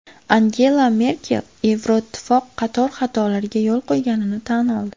Angela Merkel Yevroittifoq qator xatolarga yo‘l qo‘yganini tan oldi.